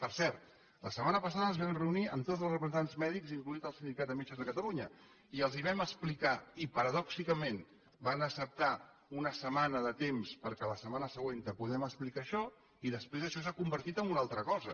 per cert la setmana passada ens vam reunir amb tots els representants mèdics inclòs el sindicat de metges de catalunya i els ho vam explicar i paradoxalment van acceptar una setmana de temps perquè la setmana següent poguéssim explicar això i després això s’ha convertit en una altra cosa